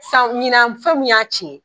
San ɲina fɛnw y'a tiɲɛn.